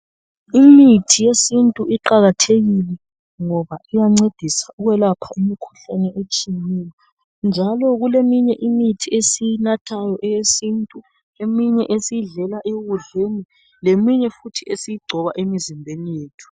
Imithi yesintu iqakathekile ngoba iyancedisa ukwelapha imkhuhlane etshiyeneyo njalo kuleminye imithi esiyinathayo eyesintu, eminye esiyidlela ekudleni leminye futhi esiyigcoba emizimbeni yethu.